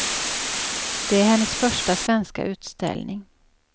Det är hennes första svenska utställning.